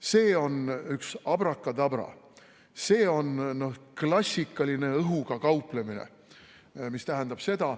See on üks abrakadabra, see on klassikaline õhuga kauplemine.